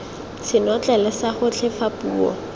senotlele sa gotlhe fa puo